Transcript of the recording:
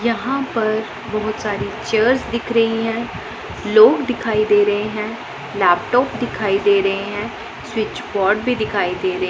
यहां पर बहुत सारी चेयर्स दिख रही हैं लोग दिखाई दे रहे हैं लैपटॉप दिखाई दे रहे हैं स्विच बोर्ड भी दिखाई दे रहे--